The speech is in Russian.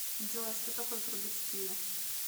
джой что такое трубецкие